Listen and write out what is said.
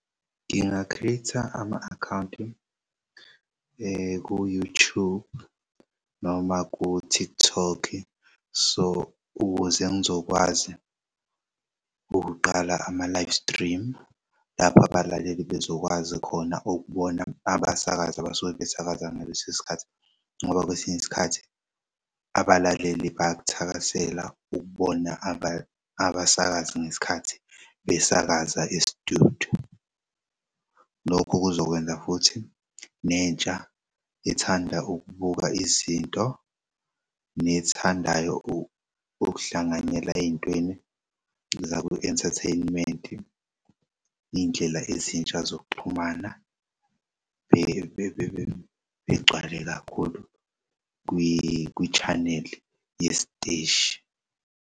Ngingakhetha ama akhawunti ku-YouTube noma ku-TikTok so ukuze ngizokwazi ukuqala ama-live stream lapha abalaleli bezokwazi khona ukubona abasakazi abasuke besakaza ngaleso sikhathi ngoba kwesinye isikhathi abalaleli bayak'thakasela ukubona abasakazi ngesikhathi besakaza e-studio. Lokho kuzokwenza futhi nentsha ethanda ukubuka izinto nethandayo ukuhlanganyela ey'ntweni zaku-entertainment iy'ndlela ezintsha zokuxhumana begcwale kakhulu kwi-channel yesiteshi.